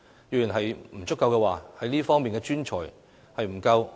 若不足夠，哪方面的專才不夠？